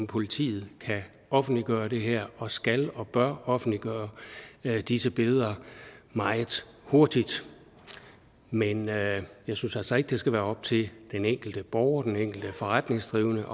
politiet kan offentliggøre det her og skal og bør offentliggøre disse billeder meget hurtigt men jeg jeg synes altså ikke at det skal være op til den enkelte borger den enkelte forretningsdrivende